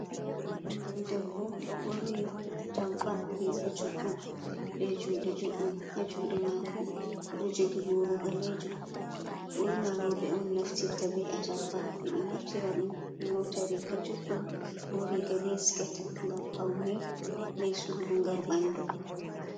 Ɓingel debbo ɗo ɓorni atampa, riga juɗɗum be juude juɗɗum, haa juude maako. O ɗo jogi boro ɓalejum. Ɓurna rowɓe on naftifta be atampa, ɓe ɗo naftira ɗum nyota riiga juɗɗum ko riiga be sket ngam paune, be surungal ɓandu